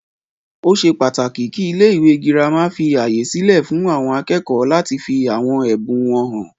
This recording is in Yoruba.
Ó ṣe pàtàkì kí ilé ìwé gírámà fí ààyè sílẹ fún àwọn akẹ́kọ̀ọ́ láti fí àwọn ẹbùn wọn hàn.